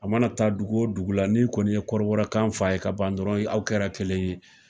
A mana taa dugu wo dugu la, ni kɔni ye kɔrɔbɔrɔkan f'a ye ka ban dɔrɔn aw kɛra kelen ye.